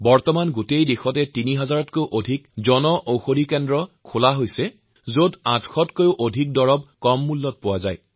আজি সমগ্ৰ দেশত তিন হাজাৰতকৈ অধিক জনঔষধি কেন্দ্ৰ খোলা হৈছে যত ৮০০তকৈও অধিক ঔষুধ কম দামত বিক্ৰীৰ ব্যৱস্থা কৰা হৈছে